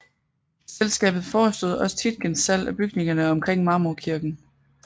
Selskabet forestod også Tietgens salg af bygningerne omkring Marmorkirken